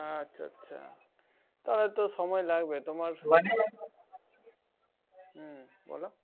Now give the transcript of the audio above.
আচ্ছা আচ্ছা। তাহলে তো সময় লাগবে হম বল?